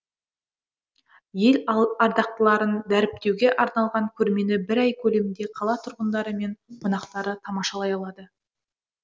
ел ардақтыларын дәріптеуге арналған көрмені бір ай көлемінде қала тұрғындары мен қонақтары тамашалай алады